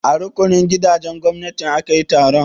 A rukunin gidajen gwamnati aka yi taron?